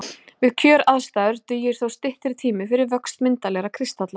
Við kjöraðstæður dugir þó styttri tími fyrir vöxt myndarlegra kristalla.